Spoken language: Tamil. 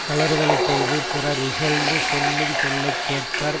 கழறுதலைச் செய்து பிறர் இகழ்ந்து சொல்லு சொல்லை கேட்பர்